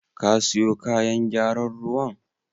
Ka siyo kayan gyaran ruwan?